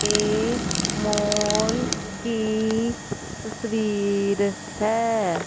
ये मॉल की तस्वीर है।